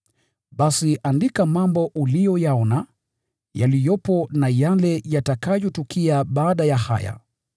“Basi andika mambo uliyoyaona, yaliyopo na yale yatakayotukia baada ya haya.